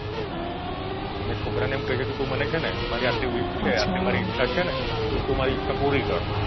ને છોકરાને એમ કે છે તું મને છે ને મારી આટલી wish છે આટલી મારી ઇચ્છા છે ને તો તું મારી ઇચ્છા પુરી કર